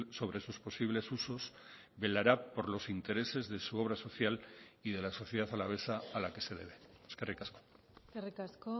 sobre sus posibles usos velará por los intereses de su obra social y de la sociedad alavesa a la que se debe eskerrik asko eskerrik asko